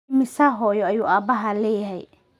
Immisa hooyo ayuu aabbahaa leeyahay?